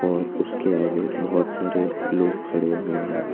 और उसके आगे बहोत सारे लोग खड़े हुए हैं।